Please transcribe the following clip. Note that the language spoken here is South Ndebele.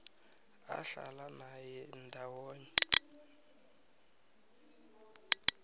ahlala naye ndawonye